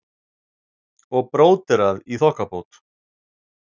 Og bróderað í þokkabót.